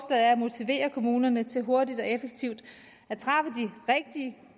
at motivere kommunerne til hurtigt og effektivt